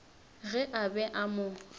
ge a be a mo